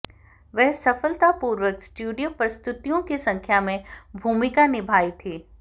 वह सफलतापूर्वक स्टूडियो प्रस्तुतियों की संख्या में भूमिका निभाई थी